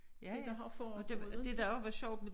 Det der har foregået inte